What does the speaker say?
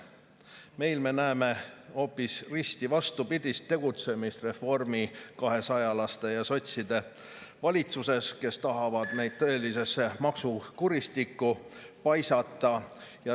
Meie näeme hoopis risti vastupidist tegutsemist reformi, kahesajalaste ja sotside valitsuses, kes tahavad meid tõelisesse maksukuristikku paisata.